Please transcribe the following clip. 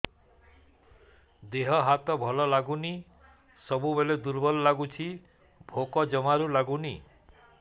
ଦେହ ହାତ ଭଲ ଲାଗୁନି ସବୁବେଳେ ଦୁର୍ବଳ ଲାଗୁଛି ଭୋକ ଜମାରୁ ଲାଗୁନି